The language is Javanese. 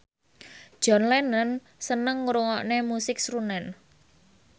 John Lennon seneng ngrungokne musik srunen